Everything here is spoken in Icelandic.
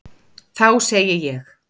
Þá segði ég: